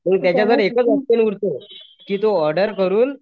आणि त्याच्याकडे एकच ऑपशन उरतो की तो ऑर्डर करून